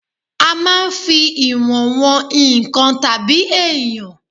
A máa ń fi ìwọ̀n wọn nǹkan tàbí èèyàn